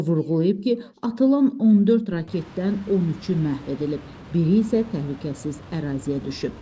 O vurğulayıb ki, atılan 14 raketdən 13-ü məhv edilib, biri isə təhlükəsiz əraziyə düşüb.